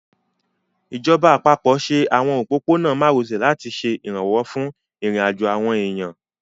Ìjọba àpapọ̀ ṣe àwọn òpópó-ọ̀nà márosẹ̀ láti ṣe ìrànwọ́ fún ìrìnàjò àwọn èèyàn